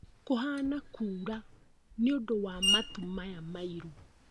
Kuhana kura nĩũndũ wa matu maya mairũ